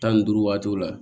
Tan ni duuru waatiw la